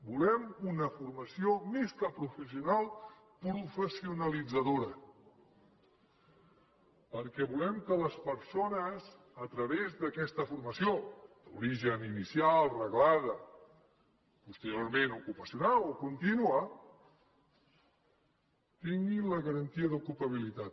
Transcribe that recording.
volem una formació més que professional professionalitzadora perquè volem que les persones a través d’aquesta formació d’origen inicial reglada posteriorment ocupacional o contínua tinguin la garantia d’ocupabilitat